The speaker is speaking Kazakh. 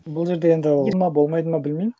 бұл жерде енді болмайды ма білмеймін